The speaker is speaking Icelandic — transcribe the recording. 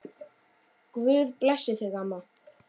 Guð blessi þig, amma.